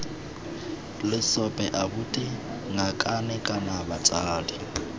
lesope abuti ngakane kana batsadi